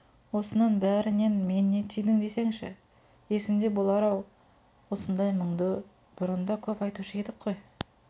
осының бәрінен мен не түйдің десеңші есіңде болар-ау осындай мұнды бұрын да көп айтушы едік қой